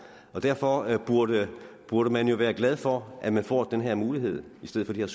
og derfor burde burde man jo være glad for at man får den her mulighed i stedet